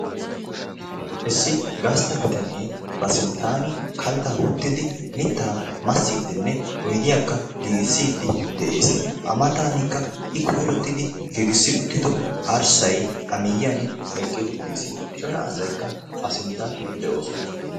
issi gasta bitanee ba sintaani kaltaa wottidi mitaa massidi oydiyakka giigissidi de'ees. A mataanikka I koyrottidi giigissi uttido arsay de'ees. Arssay A miyiyan eqqiis. Cora asaykkka A sinttan de'oosona.